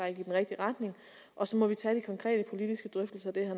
i den rigtige retning og så må vi tage de konkrete politiske drøftelser